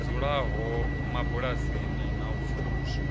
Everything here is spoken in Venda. dzulaho mabulasini na u pfuluswa